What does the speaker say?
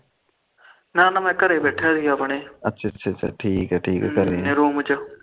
ਨਾ ਮੈ ਘਰੇ ਬੈਠਾ ਸੀ ਆਪਣੇ ਠੀਕਾ ਠੀਕਾ ਆਪਣੇ ਰੂਮ ਚ